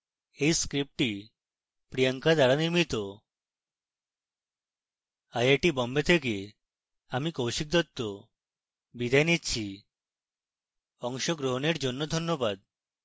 এই script priyanka দ্বারা নির্মিত আই আই টী বোম্বে থেকে আমি কৌশিক দত্ত বিদায় নিচ্ছি